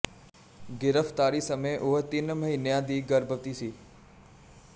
ਗ੍ਰਿਫ਼ਤਾਰੀ ਸਮੇਂ ਉਹ ਤਿੰਨ ਮਹੀਨਿਆਂ ਦੀ ਗਰਭਵਤੀ ਸੀ